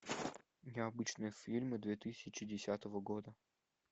необычные фильмы две тысячи десятого года